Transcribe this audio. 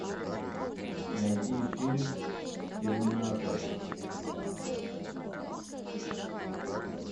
найди фильм терминатор